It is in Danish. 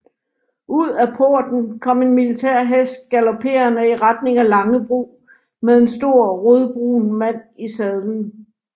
Ud af porten kom en militær hest galoperende i retning af Langebro med en stor rødbrun mand i sadlen